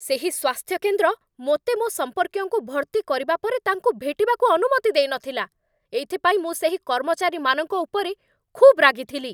ସେହି ସ୍ୱାସ୍ଥ୍ୟ କେନ୍ଦ୍ର ମୋତେ ମୋ ସମ୍ପର୍କୀୟଙ୍କୁ ଭର୍ତ୍ତି କରିବା ପରେ ତାଙ୍କୁ ଭେଟିବାକୁ ଅନୁମତି ଦେଇନଥିଲା। ଏଥିପାଇଁ ମୁଁ ସେହି କର୍ମଚାରୀମାନଙ୍କ ଉପରେ ଖୁବ୍ ରାଗିଥିଲି ।